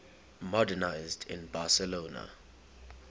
modernisme in barcelona